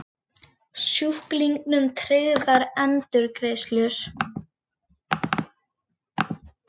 Sjúklingum tryggðar endurgreiðslur